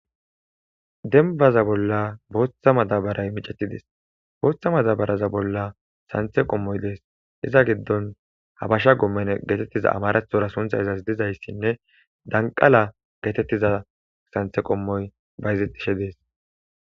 Dembaza bolla botha madabare mic,etides botha madabare bolla santhe qomoyi de,ees iza gidon habasha gomenne getetiza amaratora suntha gidizayisinne danqala getetiza santhe qomoyi bayizetishe de,ees